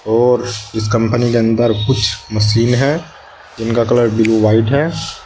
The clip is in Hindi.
और इस कंपनी के अंदर कुछ मशीन है जिनका कलर ब्लू व्हाइट है।